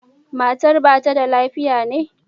Matar ba ta da lafiya ne?